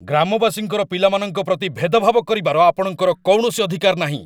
ଗ୍ରାମବାସୀଙ୍କର ପିଲାମାନଙ୍କ ପ୍ରତି ଭେଦଭାବ କରିବାର ଆପଣଙ୍କର କୌଣସି ଅଧିକାର ନାହିଁ ।